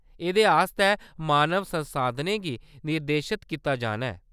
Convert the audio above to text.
एह्‌‌‌दे आस्तै मानव संसाधनें गी निर्देशत कीता जाना ऐ।